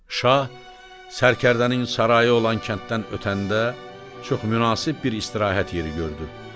Şah Sərkərdənin sarayı olan kənddən ötəndə çox münasib bir istirahət yeri gördü.